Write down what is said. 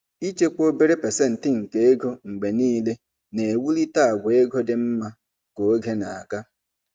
Ịchekwa obere pasentị nke ego mgbe niile na-ewulite àgwà ego dị mma ka oge na-aga.